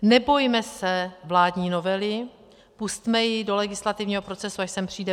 Nebojme se vládní novely, pusťme ji do legislativního procesu, až sem přijde.